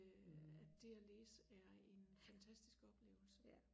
øh at det og læse er en fantastisk oplevelse